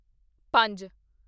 ਪੰਜ